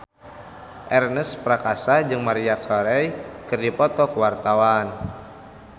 Ernest Prakasa jeung Maria Carey keur dipoto ku wartawan